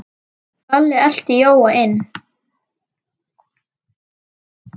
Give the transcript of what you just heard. Lalli elti Jóa inn.